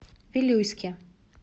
вилюйске